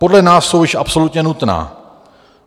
Podle nás jsou již absolutně nutná.